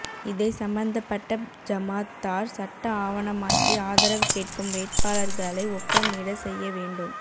இதை சம்பந்தப்பட்ட ஜமாத்தார் சட்ட ஆவணமாக்கி ஆதரவு கேட்கும் வேட்பாளர்களை ஒப்பமிட செய்ய வேண்டும்